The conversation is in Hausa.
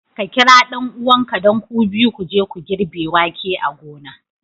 Ks kira ɗan'uwanka, don ku biyu ku je ku girbe wake a gona.